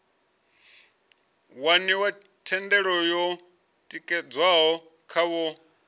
waniwa thendelo yo tikedzwaho khavho